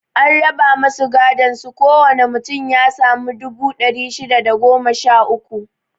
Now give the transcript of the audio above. An raba masu godon su ko wane mutum ya sami dubu ɗari shida da goma sha uku